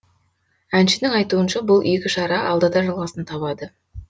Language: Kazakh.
әншінің айтуынша бұл игі шара алда да жалғасын табады